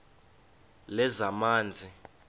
lezamanzi